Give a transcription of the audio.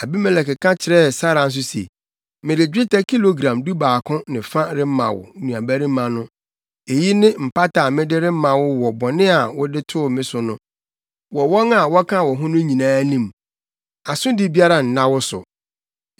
Abimelek ka kyerɛɛ Sara nso se, “Mede dwetɛ kilogram dubaako ne fa rema wo nuabarima no. Eyi ne mpata a mede rema wo wɔ bɔne a wɔde too wo so no, wɔ wɔn a wɔka wo ho no nyinaa anim. Asodi biara nna wo so.”